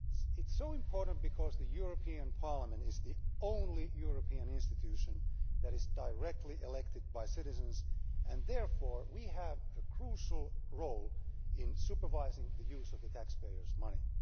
It is so important because the European Parliament is the only European institution that is directly elected by citizens, and therefore we have a crucial role in supervising the use of the taxpayers' money.